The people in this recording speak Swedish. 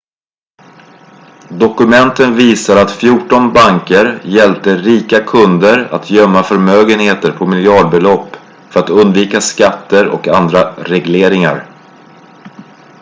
dokumenten visar att fjorton banker hjälpte rika kunder att gömma förmögenehter på miljardbelopp för att undvika skatter och andra regleringar